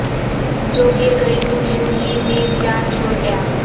جو گر گئی تو یوں ہی نیم جان چھوڑ گیا